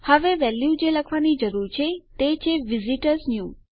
અને વેલ્યુ જે મારે લખવાની જરૂર છે તે છે વિઝિટર્સન્યૂ